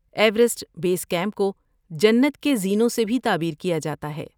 Everest base camp کو جنت کے زینوں سے بھی تعبیر کیا جاتا ہے۔